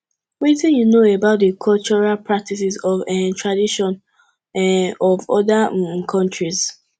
wetin you know about di cultural practices and um traditions um of oda um countries